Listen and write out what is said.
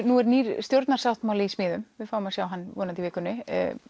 nú er nýr stjórnarsáttmáli í smíðum við fáum að sjá hann í vikunni